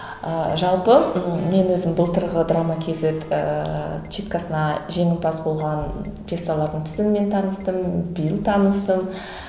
ы жалпы мен өзім былтырғы драма кейзет ыыы читкасына жеңімпаз болған пьесалардың тізімімен таныстым биыл таныстым